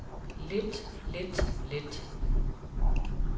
lidt lidt lidt